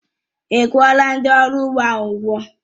Ị́ kwuọla ndị ọrụ ugbo ahụ ụgwọ?